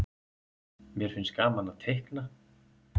mér finnst gaman að teikna